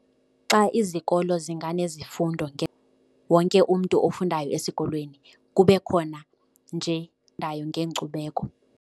Xa izikolo zinganezifundo wonke umntu ofundayo esikolweni kube khona nje ngeenkcubeko.